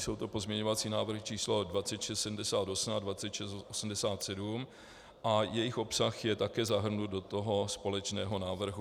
Jsou to pozměňovací návrhy číslo 2678 a 2687 a jejich obsah je také zahrnut do toho společného návrhu.